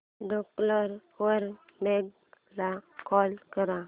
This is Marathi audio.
ट्रूकॉलर वर मेघा ला कॉल कर